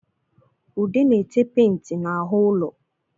Ude na-ete penti n'ahụ ụlo